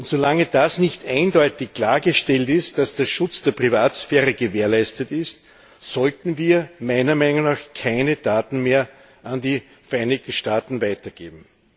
Solange nicht eindeutig klargestellt ist, dass der Schutz der Privatsphäre gewährleistet ist, sollten wir meiner Meinung nach keine Daten mehr an die Vereinigten Staaten weitergeben.